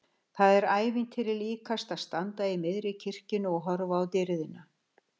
Það er ævintýri líkast að standa í miðri kirkjunni og horfa á dýrðina!